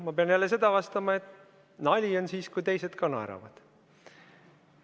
Ma pean jälle vastama, et nali on siis, kui teised ka naeravad.